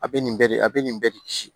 A bɛ nin bɛɛ de a bɛ nin bɛɛ de kisi